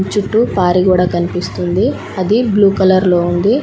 చుట్టూ పారి గోడ కనిపిస్తుంది. అది బ్లూ కలర్లో ఉంది.